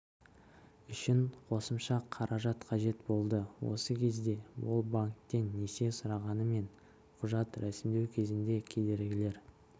үшін қосымша қаражат қажет болды осы кезде ол банктен несие сұрағанымен құжат рәсімдеу кезінде кедергілер